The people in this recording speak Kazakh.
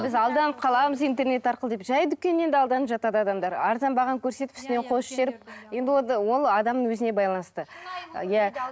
біз алданып қаламыз интернет арқылы деп жай дүкеннен де алданып жатады адамдар арзан бағаны көрсетіп үстіне қосып жіберіп енді ол адамның өзіне байланысты иә